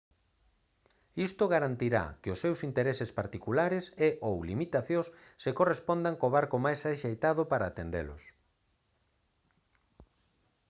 isto garantirá que os seus intereses particulares e/ou limitacións se correspondan co barco máis axeitado para atendelos